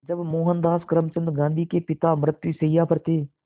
जब मोहनदास करमचंद गांधी के पिता मृत्युशैया पर थे